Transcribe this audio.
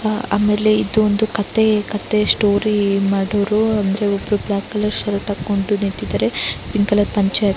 ಆಹ್ಹ್ ಆಮೇಲೆ ಇದು ಒಂದು ಕಥೆ ಕಥೆ ಸ್ಟೋರಿ ಮಾಡೋರು ಅಂದ್ರೆ ಒಬ್ರು ಬ್ಲಾಕ್ ಕಲರ್ ಶರ್ಟ್ ಹಾಕೊಂಡು ನಿತ್ತಿದ್ದಾರೆ ಪಿಂಕ್ ಕಲರ್ ಪಂಚೆ --